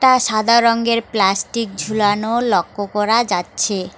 আ সাদা রঙ্গের প্লাস্টিক ঝুলানো লক্ষ করা যাচ্ছে।